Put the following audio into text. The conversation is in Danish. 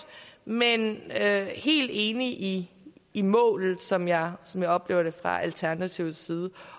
men jeg er helt enig i i målet som jeg som jeg oplever det fra alternativets side